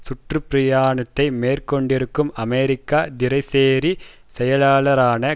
சுற்றுப்பிரயாணத்தை மேற்கொண்டிருக்கும் அமெரிக்க திறைசேரி செயலாளரான